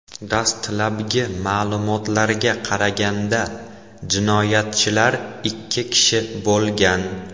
Dastlabki ma’lumotlarga qaraganda, jinoyatchilar ikki kishi bo‘lgan.